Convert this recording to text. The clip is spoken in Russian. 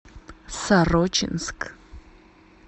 сорочинск